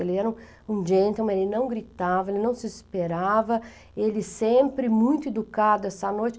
Ele era um um gentleman, ele não gritava, ele não se esperava, ele sempre muito educado essa noite.